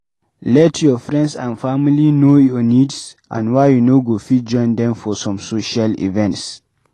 Let your friends and family know your needs and why you no go fit join them for some social events